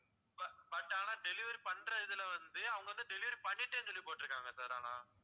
but ஆனா delivery பண்ற இதுல வந்து அவங்க வந்து delivery பண்ணிட்டேன்னு சொல்லி போட்டிருக்காங்க sir ஆனா